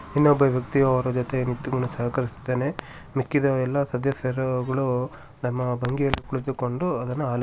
ಇನ್ನೊಬ್ಬ ವ್ಯಕ್ತಿಯು ಅವನ ಜೊತೆ ನಿಂತುಕೊಂಡು ಸಹಕರಿಸುತ್ತಿದ್ದಾನೆ ಮಿಕ್ಕಿದ ಅವರೆಲ್ಲ ಸದಸ್ಯರುಗಳು ತಮ್ಮ ಬಂಗಿಯಲ್ಲಿ ಕುಳಿತುಕೊಂಡು ಅದನ್ನು ಆಲೋ .